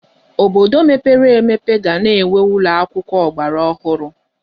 Obodo mepere emepe ga na-enwe ụlọ akwụkwọ ọgbaraọhụrụ.